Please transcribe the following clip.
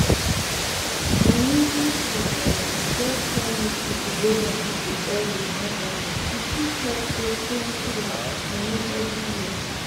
i mean if we um just try make people go hospital early more better e fit help save plenty life i mean every year